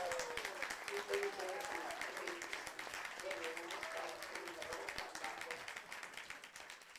miten icheget en pelvis, agengei en komosto agetugul nebo kotab lakwet